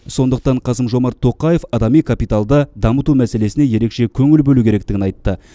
сондықтан қасым жомарт тоқаев адами капиталды дамыту мәселесіне ерекше көңіл бөлу керектігін айтты